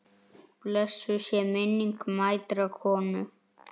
Blessuð sé minning mætrar konu.